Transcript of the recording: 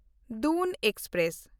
Doon express